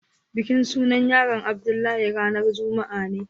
bikin sunan yaron Abdullahi ranan juma'a ne.